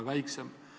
Lugupeetud minister!